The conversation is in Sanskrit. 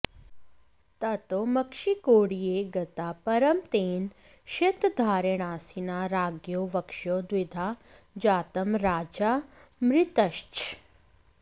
ततो मक्षिकोड्डीय गता परं तेन शितधारेणासिना राज्ञो वक्षो द्विधा जातं राजा मृतश्च